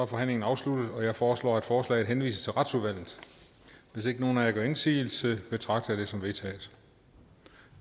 forhandlingen afsluttet jeg foreslår at forslaget henvises til retsudvalget hvis ikke nogen af jer gør indsigelse betragter jeg det som vedtaget